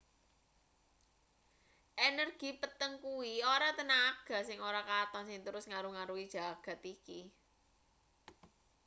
energy peteng kuwi ora tenaga sing ora katon sing terus ngaruh-aruhi jagat iki